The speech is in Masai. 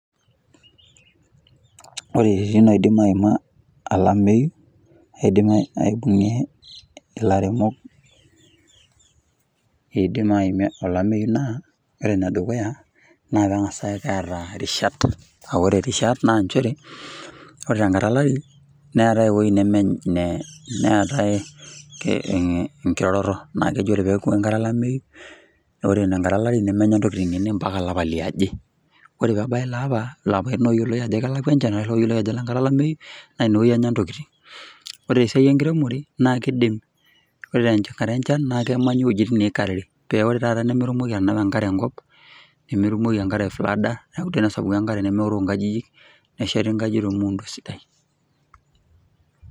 Ore pee idim aimie olameyu, nidim ilarin kumok, pee idim aimie olameyu, naa keng'as aata irishat, aa ore Irishat, naa nchere ore tenkata olari, neetae ewueji, neetae enkiroroto..naa keji ore peeku enkata olameyu, ore enkata, olari nemenya ntokitin enye mpaka olapa lioje. ore pee ebaya elaapa. ilapaitin oijp kelakua enchan, ashu looyioloi ajo Ile nkata olameyu naa ine kata Enya ntokitin. ore sii esiai enkiremore, naa kidim ore tenkata enchan naa Kenya ntokitin, amu ore taata nimitumoki atanapa enkare enkop. nemetumoki enkare aifrada, neeku tenesapuki enkare nemeoroo nkajijik. nesheti nkajijik tolmuundi sidai.